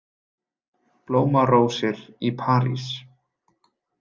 Blómarósir í París